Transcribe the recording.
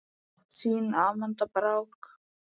Þín Amanda Brák.